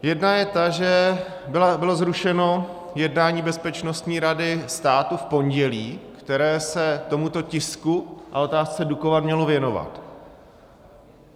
Jedna je ta, že bylo zrušené jednání Bezpečnostní rady státu v pondělí, které se tomuto tisku a otázce Dukovan mělo věnovat.